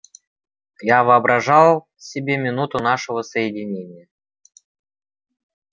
я воображал себе минуту нашего соединения